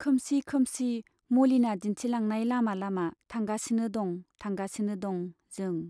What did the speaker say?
खोमसि खोमसि मलिना दिन्थिलांनाय लामा लामा थांगासिनो दं थांगासिनो दं जों।